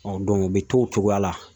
u bɛ to o cogoya la